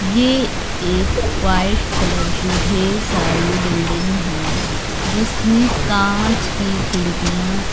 ये एक white colour की ढेर सारी बिल्डिंग है जिसमें कांच की खिड़कियां --